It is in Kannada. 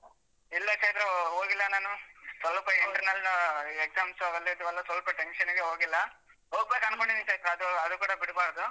ಇಲ್ಲ ಚೈತ್ರ ಹೋಗಿಲ್ಲ ನಾನು, ಸ್ವಲ್ಪ internal exams ಅವೆಲ್ಲ ಇದ್ವಲ್ಲ ಸ್ವಲ್ಪ tension ಗೆ ಹೋಗಿಲ್ಲ, ಹೋಗ್ಬೇಕು ಅನ್ಕೊಂಡಿದ್ದೀನಿ ಚೈತ್ರ ಅದು ಅದು ಕೂಡ ಬಿಡ್ಬಾರ್ದು.